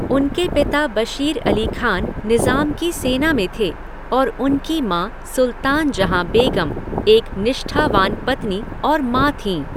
उनके पिता बशीर अली खान निज़ाम की सेना में थे और उनकी माँ सुल्तान जहाँ बेगम एक निष्ठावान पत्नी और माँ थीं।